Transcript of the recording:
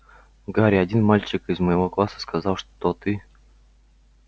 гарри один мальчик из моего класса сказал что ты